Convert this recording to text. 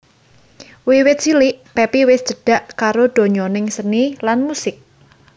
Wiwit cilik Pepi wis cedhak karo donyaning seni lan musik